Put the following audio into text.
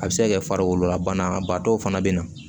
A bɛ se ka kɛ farikolola banaba dɔw fana be na